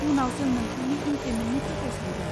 उनाव जों नोंथांनि इनक्रिमेन्टनि थाखाय सानगोन।